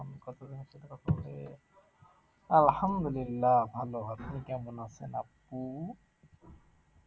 আলহামদুলিল্লাহ ভালো আপনি কেমন আছেন? আপু